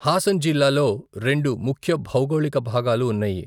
హసన్ జిల్లాలో రెండు ముఖ్య భౌగోళిక భాగాలు ఉన్నాయి.